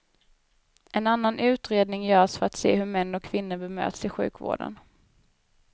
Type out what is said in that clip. En annan utredning görs för att se hur män och kvinnor bemöts i sjukvården.